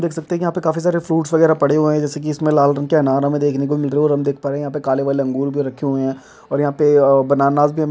देख सकते कि यहाँ पे काफी सारे फ्रूट वगैरा पड़े हुए हैं जैसे की लाल रंग का अनार हमे देखने को मिल रहे हैं और हम देख पा रहे हैं यहाँ पे काले-काले अंगूर भी रखे हुए हैं और यहाँ पे बनानास भी हम--